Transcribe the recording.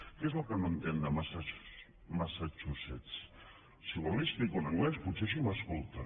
què és el que no entén de massachusetts si vol li ho explico en anglès potser així m’escolta